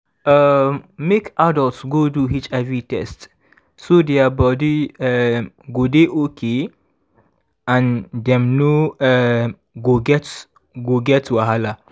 um make adults go do hiv test so their body um go dey okay and dem no um go get go get wahala